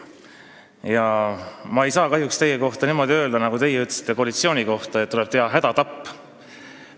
Samas ma ei saa kahjuks teie kohta niimoodi öelda, nagu teie ütlesite koalitsiooni kohta, et tuleb teha hädatapp.